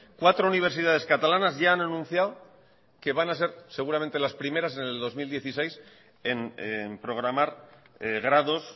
cuatro universidades catalanas ya han anunciado que van a ser seguramente las primeras en el dos mil dieciséis en programar grados